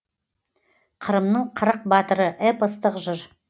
қырымның қырық батыры эпостық жыр